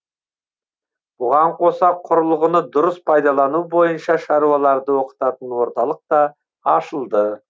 бұған қоса құрылғыны дұрыс пайдалану бойынша шаруаларды оқытатын орталық та ашылды